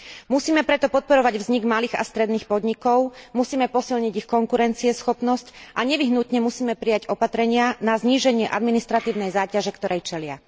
Musíme preto podporovať vznik malých a stredných podnikov, musíme posilniť ich konkurencieschopnosť a nevyhnutne musíme prijať opatrenia na zníženie administratívnej záťaže, ktorej čelia.